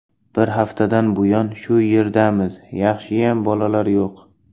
Bir haftadan buyon shu yerdamiz, yaxshiyam bolalar yo‘q.